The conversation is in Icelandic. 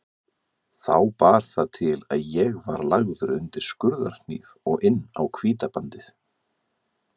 Þá bar það til að ég var lagður undir skurðarhníf og inn á Hvítabandið.